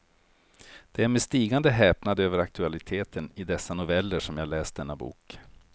Det är med stigande häpnad över aktualiteten i dessa noveller som jag läst denna bok.